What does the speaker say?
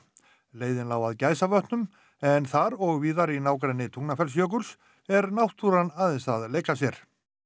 leiðin lá að Gæsavötnum en þar og víðar í nágrenni Tungnafellsjökuls er náttúran aðeins að leika sér